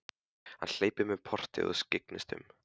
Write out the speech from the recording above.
Hann hleypur um portið og skyggnist um.